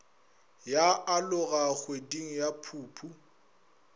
ya aloga kgweding ya phuphu